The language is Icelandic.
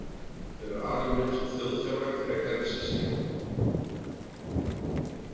Þau eru alin upp sem þjóðfélag frekar en systkinahópur.